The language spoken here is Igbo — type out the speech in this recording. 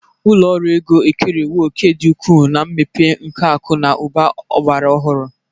Ụlọ ọrụ ego ekerewo òkè dị ukwuu na mmepe nke akụ na ụba ọgbara ọhụrụ.